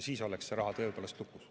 Siis oleks see raha tõepoolest lukus.